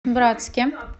братске